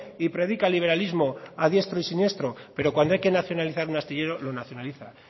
y predica liberalismo a diestro y siniestro pero cuando hay que nacionalizar un astillero lo nacionaliza